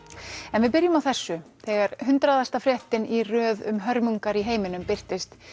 en við byrjum á þessu þegar hundraðasta fréttin í röð um hörmungar í heiminum birtist